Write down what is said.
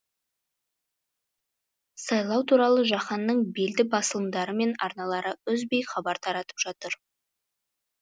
сайлау туралы жаһанның белді басылымдары мен арналары үзбей хабар таратып жатыр